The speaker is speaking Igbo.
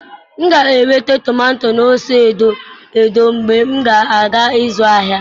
M ga-enwetakwu tomato na ose edo edo mgbe ị na-aga ịzụ ahịa